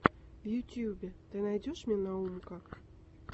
в ютубе ты мне найдешь наумка